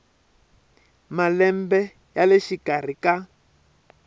malembe ya le xikarhi ka